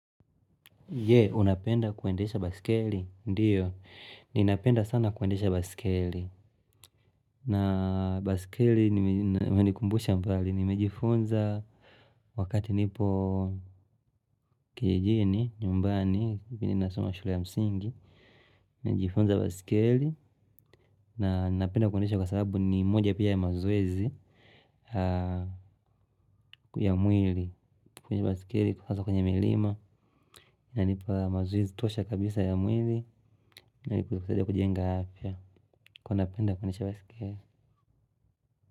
Je, unapenda kuendesha baiskeli? Ndio. Ninapenda sana kuendesha basikeli. Na basikeli, nimejifunza wakati nipo kijijini, nyumbani, vini nasoma shule ya msingi. Nijifunza basikiei, na napenda kuendesha kwa sababu ni moja pia ya mazoezi ya mwili. Kwenye basikeli kufasa kwenye milima na nipa mazoezi tosha kabisa ya mwili na nipa kutuosha kujenga hafia kwa napenda kwenye basikiri.